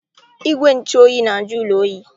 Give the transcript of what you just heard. Igwe ntụ oyi na-ajụ ụlọ oyi.